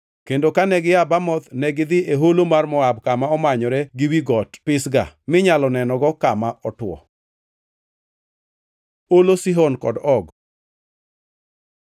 kendo kane gia Bamoth negidhi e holo mar Moab kama omanyore gi wi got Pisga minyalo nenogo kama otwo. Olo Sihon kod Og